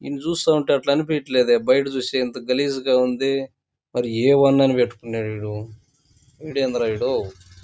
ఈడిని చుస్తూఉంటె అట్ల అనిపియట్లేదే బయట చుస్తే ఎంత గలీజ్ గ ఉంది మరి ఏ ఉందని పెట్టుకున్నాడు వీడు వీడేందిరా వీడు --